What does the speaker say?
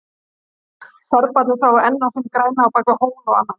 Serbarnir sváfu enn á sínu græna, á bakvið hól og annan.